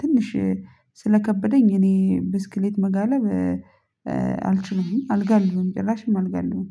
ትንሽ ስለከበደኝ እኔ ብስክሌት መጋለብ አልችልም። አልጋልብም ጭራሽም አልጋልብም።